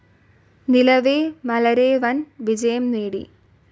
നിലവേ മലരേ വൻ വിജയം നേടി.